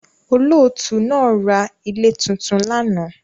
Olóòtú naa ra ilé tuntun lánàá